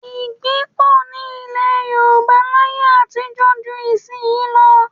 Igbí pọ̀ ní ilẹ̀ Yorùbá láyé àtijọ́ ju ìsin yìí lọ